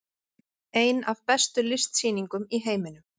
Ein af bestu listsýningum í heiminum